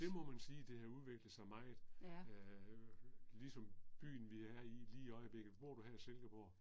Det må man sige, det har udviklet sig meget. Øh ligesom byen vi er i lige i øjeblikket, bor du her i Silkeborg?